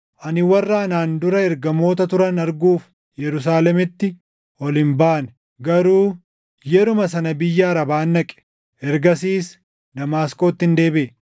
Ani warra anaan dura ergamoota turan arguuf Yerusaalemitti ol hin baane; garuu yeruma sana biyya Arabaan dhaqe. Ergasiis Damaasqoottin deebiʼe.